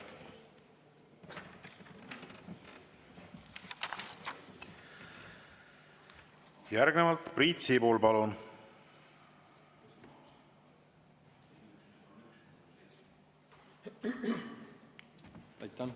Järgnevalt Priit Sibul, palun!